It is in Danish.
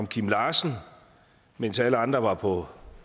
kim larsen mens alle andre var på